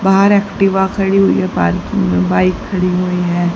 बाहर एक्टिवा खड़ी हुई है पार्किंग में बाइक खड़ी हुई है।